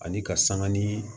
Ani ka sanga ni